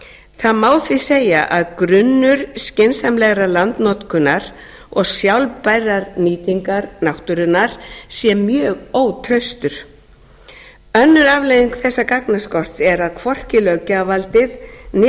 það má því segja að grunnur skynsamlegrar landnotkunar og sjálfbærrar nýtingar náttúrunnar sé mjög ótraustur önnur afleiðing þessa gagnaskorts er að hvorki löggjafarvaldið né